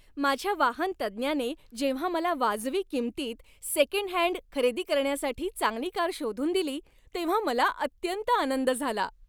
माझ्या वाहन तज्ज्ञाने जेव्हा मला वाजवी किंमतीत सेकंडहँड खरेदी करण्यासाठी चांगली कार शोधून दिली तेव्हा मला अत्यंत आनंद झाला.